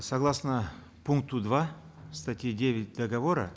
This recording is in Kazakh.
согласно пункта два статьи девять договора